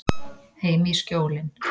Heim í Skjólin.